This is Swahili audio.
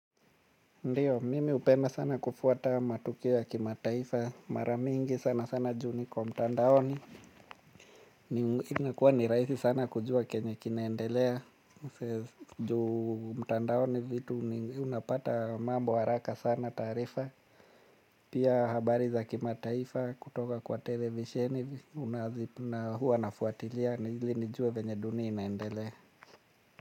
Ndiyo, mimi hupenda sana kufuata matukeo ya kimataifa maramingi sana sana juu niko mtandaoni. Inakuwa ni rahisi sana kujua kenye kinaendelea. Juu mtandaoni vitu unapata mambo haraka sana taarifa. Pia habari za kimataifa kutoka kwa televisheni unazipna huu anafuatilia nili nijue venye duni inaendelea.